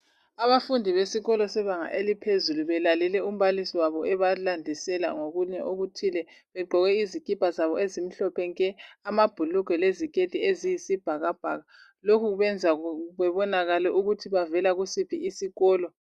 Abafundi besikolo sebanga eliphezulu belalele umbalisi wabo ebalandisela ngokunye okuthile begqoke izikipa zabo ezimhlophe nke, amabhulugwe leziketi eziyisibhakabhaka. Lokhu kubenza bebonakale ukuthi bavela kusiphi isikolo.